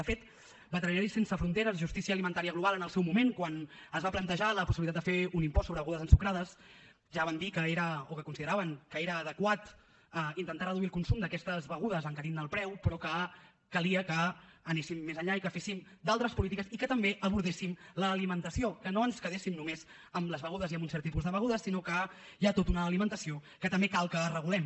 de fet veterinaris sense fronteres justícia alimentària global en el seu moment quan es va plantejar la possibilitat de fer un impost sobre begudes ensucrades ja van dir que consideraven que era adequat intentar reduir el consum d’aquestes begudes encarint ne el preu però que calia que anéssim més enllà i que féssim d’altres polítiques i que també abordéssim l’alimentació que no ens quedéssim només amb les begudes i amb un cert tipus de begudes sinó que hi ha tota una alimentació que també cal que regulem